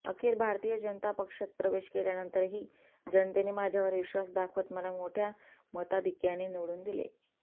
अखेर भारतीय जनता पक्षात प्रवेश केल्यानंतरही जनतेने माझ्यावर विश्वास दाखवत मला मोठ्या मताधिक्याने निवडून दिले